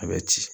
A bɛ ci